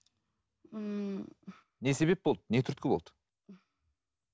ммм не себеп болды не түрткі болды